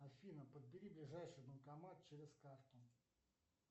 афина подбери ближайший банкомат через карту